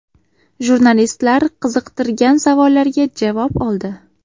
Jurnalistlar qiziqtirgan savollariga javob oldi.